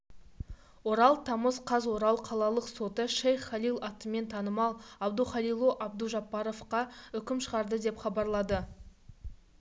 орал тамыз қаз орал қалалық соты шейх халил атымен танымал абдухалилу абдужаббаровқа үкім шығарды деп хабарлады